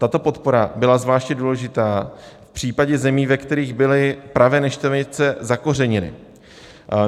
Tato podpora byla zvláště důležitá v případě zemí, ve kterých byly pravé neštovice zakořeněny.